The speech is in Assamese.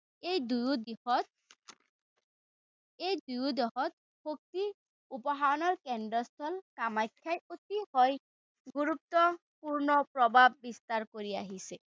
এই দুয়ো দিশত এই দুয়ো দিশত শক্তিৰ উপাসনাৰ কেন্দ্ৰস্থল কামাখ্যাই অতিশয় গুৰুত্বপূৰ্ণ প্ৰভাৱ বিস্তাৰ কৰি আহিছে।